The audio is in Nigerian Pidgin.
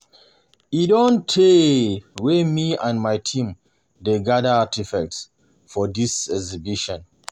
E don tey wey me and my team dey gather artefacts for dis exhibition